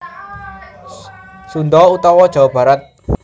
Sunda utawa Jawa Barat